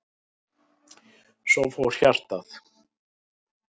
Svo fór hjartað.